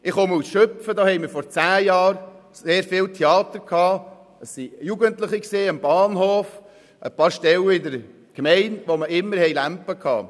Ich komme aus Schüpfen, wo wir vor zehn Jahren viel Theater hatten mit Jugendlichen am Bahnhof und an ein paar anderen Stellen der Gemeinde, wo es immer Ärger gab.